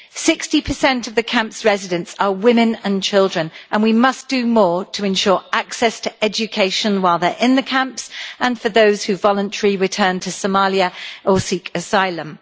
60 of the camp's residents are women and children, and we must do more to ensure access to education while they are in the camps and for those who voluntarily return to Somalia or seek asylum.